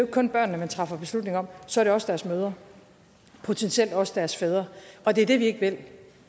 kun børnene man træffer beslutning om så er det også deres mødre og potentielt også deres fædre og det er det vi ikke vil